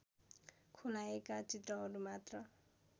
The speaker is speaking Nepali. खुलाएका चित्रहरू मात्र